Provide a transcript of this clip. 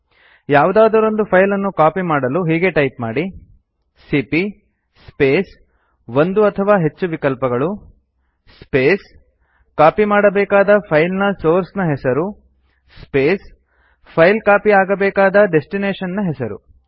ಯಾವುದಾದರೊಂದು ಫೈಲ್ ಅನ್ನು ಕಾಪಿ ಮಾಡಲು ಹೀಗೆ ಟೈಪ್ ಮಾಡಿ ಸಿಪಿಯ ಸ್ಪೇಸ್ ಒಂದು ಅಥವಾ ಹೆಚ್ಚು ವಿಕಲ್ಪಗಳು ಸ್ಪೇಸ್ ಕಾಪಿ ಮಾಡಬೇಕಾದ ಫೈಲ್ ನ ಸೋರ್ಸ್ ನ ಹೆಸರು ಸ್ಪೇಸ್ ಫೈಲ್ ಕಾಪಿ ಆಗಬೇಕಾದ ಡೆಸ್ಟಿನೇಶನ್ ನ ಹೆಸರು